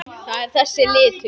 Það er þessi litur.